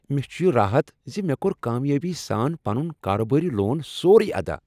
مےٚ چھُ یہ راحت ز مےٚ کوٚر کامیٲبی سان پنُن کاربٲرۍ لون سورُے ادا۔